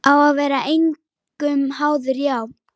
Að vera engum háður, já.